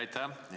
Aitäh!